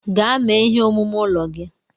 Gaa mee ihe omume ụlọ gị!